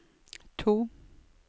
to